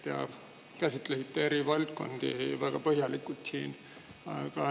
Te käsitlesite siin eri valdkondi väga põhjalikult.